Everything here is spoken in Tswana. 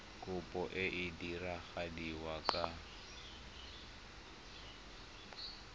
kopo e e diragadiwa ka